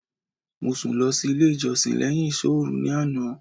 Mo sùn lọ sí ilé ìjọsìn léyìn ìsọ́òru ní àná